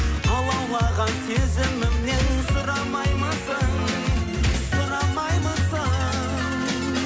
алаулаған сезімімнен сұрамаймысың сұрамаймысың